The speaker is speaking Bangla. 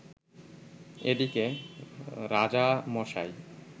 এদিকে রাজামশাই